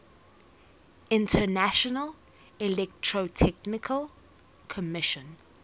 international electrotechnical commission